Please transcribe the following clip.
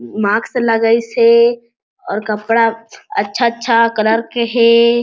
Mask लगाइस हे और कपड़ा अच्छा - अच्छा कलर के हे।